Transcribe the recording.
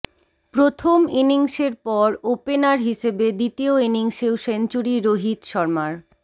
প্রথম ইনিংসের পর ওপেনার হিসেবে দ্বিতীয় ইনিংসেও সেঞ্চুরি রোহিত শর্মার